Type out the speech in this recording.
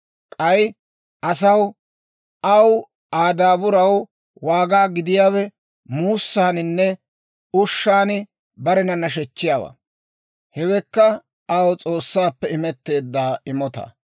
K'ay, asaw aw Aa daaburaw waaga gidiyaawe muussaaninne ushshan barena nashechchiyaawaa; hewekka aw S'oossaappe imetteedda imotaa.